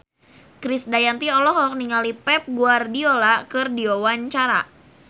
Krisdayanti olohok ningali Pep Guardiola keur diwawancara